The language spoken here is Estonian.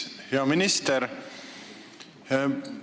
Hea minister!